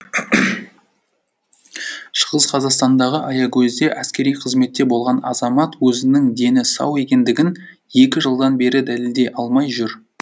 шығыс қазақстандағы аягөзде әскери қызметте болған азамат өзінің дені сау екендігін екі жылдан бері дәлелдей алмай жүр